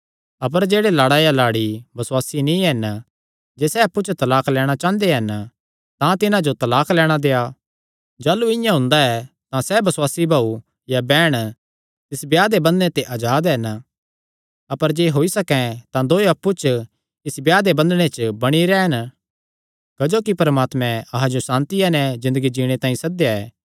अपर जेह्ड़े लाड़ा या लाड़ी बसुआसी नीं हन जे सैह़ अप्पु च तलाक लैणां चांह़दे हन तां तिन्हां जो तलाक लैणां देआ जाह़लू इआं हुंदा ऐ तां सैह़ बसुआसी भाऊ या बैहण तिस ब्याह दे बंधने ते अजाद हन अपर जे होई सकैं तां दोयो अप्पु च इस ब्याह दे बंधने च बणी रैह़न क्जोकि परमात्मैं अहां जो सांतिया नैं ज़िन्दगी जीणे तांई सद्देया ऐ